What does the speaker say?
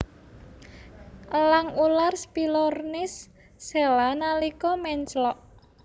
Elang ular Spilornis cheela nalika menclok